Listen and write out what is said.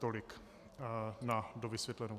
Tolik na dovysvětlenou.